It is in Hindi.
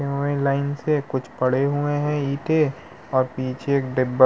अं एक लाइन से कुछ पड़े हुए हैं ईंटे और पीछे एक डब्बा --